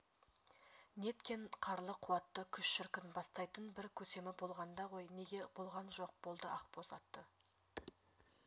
неткен қарлы қуатты күш шіркін бастайтын бір көсемі болғанда ғой неге болған жоқ болды ақбоз аты